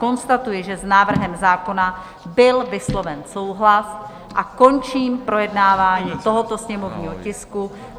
Konstatuji, že s návrhem zákona byl vysloven souhlas, a končím projednávání tohoto sněmovního tisku.